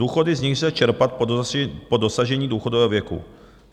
Důchody, z nichž lze čerpat po dosažení důchodového věku.